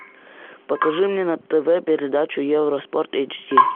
покажи мне на тв передачу евроспорт эйч ди